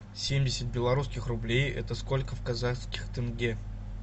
семьдесят белорусских рублей это сколько в казахских тенге